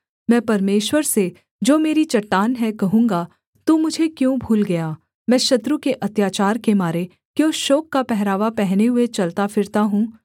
मैं परमेश्वर से जो मेरी चट्टान है कहूँगा तू मुझे क्यों भूल गया मैं शत्रु के अत्याचार के मारे क्यों शोक का पहरावा पहने हुए चलता फिरता हूँ